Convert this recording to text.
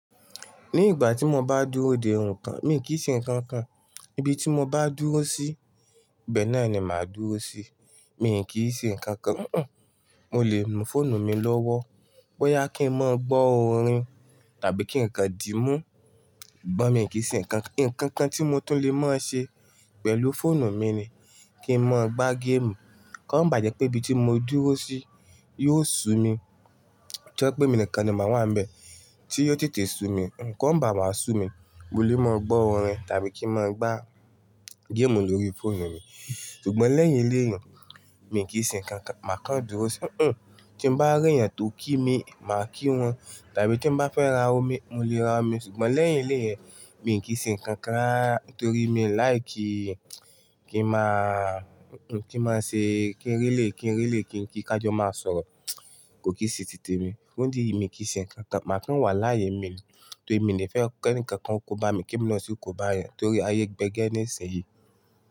Ní ìgbà tí mo bá dúró dè òǹkà, mi kì í ṣe nǹkan kan. Ibi tí mo bá dúró sí, ibẹ́ẹ̀ náà ni màá dúró sí. Mi kì í ṣe nǹkan kan, húnhun. Mo lè nu fóònù mi lọ́wọ́, bóyá kí n máa gbọ́ orin tàbí kí ǹkan dìímú, ṣùgbọ́n mi kì í ṣe nǹkan kan. Ìkankan tí mo tún lè máa ṣe pẹ̀lú fóònù mi ni kí n máa gbá géèmù. Kó ma bá jẹ́ pé ibi tí mo dúró sí yóò sú mi, to ye pé mi nìkan ni màá wà níbẹ̀ tí yóò tètè sú mi, kó ha bá máa sú mi, mo lè máa gbọ́ orin tàbí kí n máa gbá géèmù lórí fóònù mi. Ṣùgbọ́n lẹ́yìn eleyun, mi kì í ṣe nǹkan kan máa kan dúró sí, hún. Tí mo bá rí èèyàn tó kí mi, màá kí wọn tàbí tí mo bá fẹ́ ra omi, mo lè ra omi ṣùgbọ́n lẹ́yìn eleyen, mi kì í ṣe nǹkan kan lẹ́bí nítorí mi ò láìkí kí n máa, kí n máa ṣe-- kí n rí lè, kí n rí lè kí n kí ká jọ máa sọ̀rọ̀, kò kì í ṣe tètè mi. Fún idi èyí mi kì í ṣe nǹkan kan máa kan wà láyé mi nítorí mi ni fẹ́ kí ǹkan kan kó bá mi, kí mo sì kó bá èèyàn torí ayé gbé gẹ́ ní ìsinsìnyí.